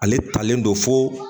Ale talen don fo